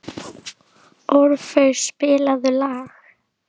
Orfeus, spilaðu lag.